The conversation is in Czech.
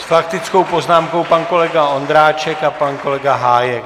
S faktickou poznámkou pan kolega Ondráček a pan kolega Hájek.